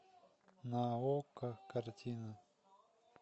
на окко картина